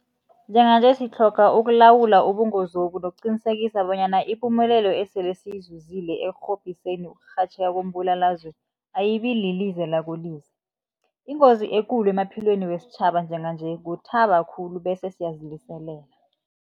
Njenganje sitlhoga ukulawula ubungozobu nokuqinisekisa bonyana ipumelelo esele siyizuzile ekurhobhiseni ukurhatjheka kombulalazwe ayibililize lakolize. Ingozi ekulu emaphilweni wesitjhaba njenganje kuthaba khulu bese siyaziliselela.